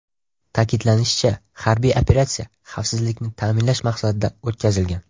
Ta’kidlanishicha, harbiy operatsiya xavfsizlikni ta’minlash maqsadida o‘tkazilgan.